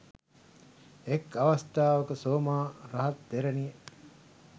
එක් අවස්ථාවක සෝමා රහත් තෙරණිය